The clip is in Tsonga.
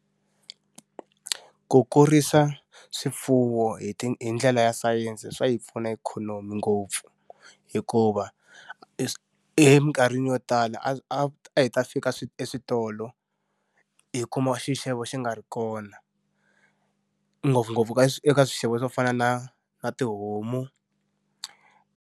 Ku kurisa swifuwo hi hi ndlela ya sayense swa yi pfuna ikhonomi ngopfu. Hikuva eminkarhini yo tala a a a hi ta fika eswitolo, hi kuma xixevo xi nga ri kona. Ngopfungopfu ka eka swixevo swo fana na na tihomu.